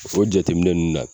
O jateminɛ ninnu na